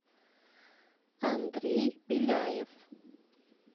андрей беляев